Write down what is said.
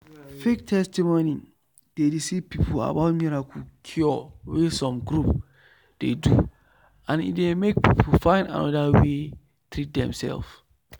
fake testimony dey deceive people about miracle cure wey some group dey do and e dey make people find another way treat demself.